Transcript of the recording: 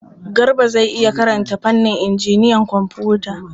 Garba zai iya karanta fannin injiniyan kwamfuta?